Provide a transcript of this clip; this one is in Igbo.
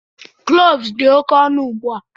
Cloves dị oke ọnụ ugbu a.